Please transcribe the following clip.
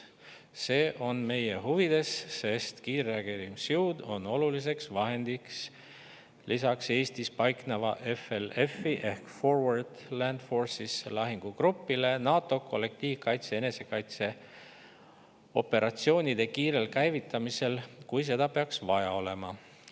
See on meie huvides, sest kiirreageerimisjõud on oluliseks vahendiks lisaks Eestis paikneva FLF-i lahingugrupile NATO kollektiivkaitse- ja enesekaitseoperatsioonide kiirel käivitamisel, kui seda peaks vaja olema.